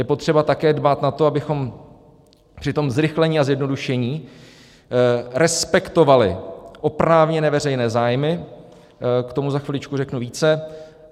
Je potřeba také dbát na to, abychom při tom zrychlení a zjednodušení respektovali oprávněné veřejné zájmy, k tomu za chviličku řeknu více.